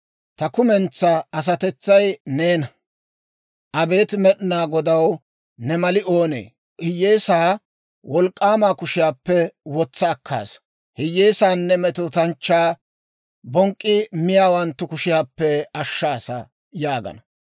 Ta kumentsaa asatetsay neena, «Abeet Med'inaa Godaw, ne mali oonee? Hiyyeesaa wolk'k'aama kushiyaappe wotsa akkaasa. Hiyyeesaanne metootanchchaa bonk'k'i miyaawanttu kushiyaappe ashshaasa» yaagana.